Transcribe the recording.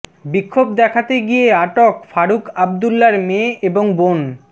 বিক্ষোভ দেখাতে গিয়ে আটক ফারুক আবদুল্লার মেয়ে এবং বােন